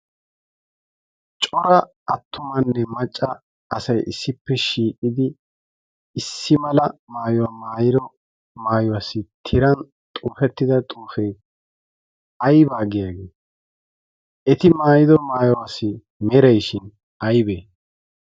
Cora attumanne macca asay issippe shiiqidi issi mala maayuwaa maayido maayuwaassi tiran xuufettida xuufee aybaa giyaagete? Eti maayido maayuwaasi merayshin aybee?